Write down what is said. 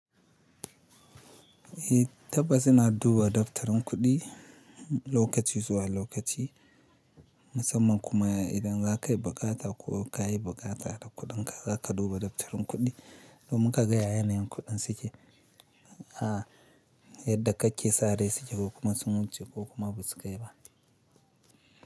Eh tabbas ina duba daftarin kuɗi lokaci zuwa lokaci, musamman kuma idan za ka yi buƙata ko ka yi buƙata da kuɗinka, za ka duba daftarin kuɗi domin ka ga ya yanayin kuɗin suke, a yadda kake sare suke ko kuma sun wuce ko kuma ba su kai ba.